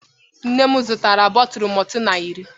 Nne m zụtara bọtụlụ maltina iri.